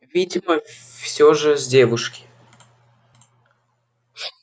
видимо все же с девушки